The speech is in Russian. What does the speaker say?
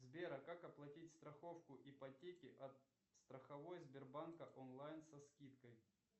сбер а как оплатить страховку ипотеки от страховой сбербанка онлайн со скидкой